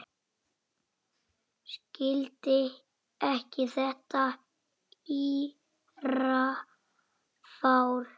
Skildi ekki þetta írafár.